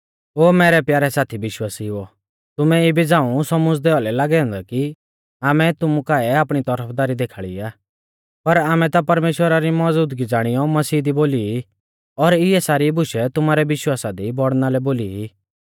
ओ मैरै प्यारै साथी विश्वासिउओ तुमैं इबी झ़ांऊ सौमुझ़दै औलै लागै औन्दै कि आमै तुमु काऐ आपणी तौरफदारी देखाल़ी आ पर आमै ता परमेश्‍वरा री मौज़ूदगी ज़ाणियौ मसीह दी बोली ई और इऐ सारी बुशै तुमारै विश्वासा दी बौड़णा लै बोली ई